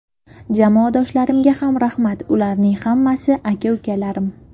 Jamoadoshlarimga ham rahmat, ularning hammasi aka-ukalarim.